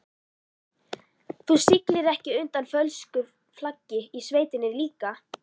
Þú siglir ekki undir fölsku flaggi í sveitinni líka?